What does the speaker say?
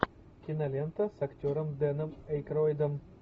кинолента с актером дэном эйкройдом